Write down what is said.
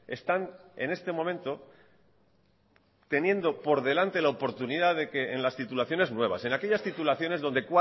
están en este momento teniendo por delante la oportunidad de que en las titulaciones nuevas en aquellas titulaciones donde